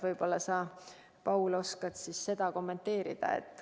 Võib-olla sa, Paul, oskad seda kommenteerida.